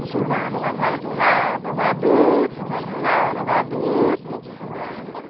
Empurrando uma vara de um lado, uma vara do outro, uma vara do lado, uma vara do outro.